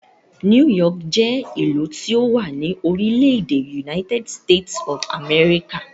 New York jẹ́ ìlú tí ó wà ní orílẹ̀-èdè United States of America.